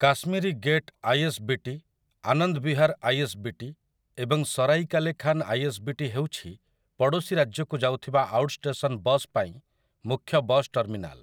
Kashmiri Gate ISBT, Anand Vihar ISBT, ଏବଂ Sarai Kale Khan ISBT ହେଉଛି ପଡ଼ୋଶୀ ରାଜ୍ୟକୁ ଯାଉଥିବା ଆଉଟଷ୍ଟେସନ୍‌ ବସ୍ ପାଇଁ ମୁଖ୍ୟ ବସ୍ ଟର୍ମିନାଲ୍ ।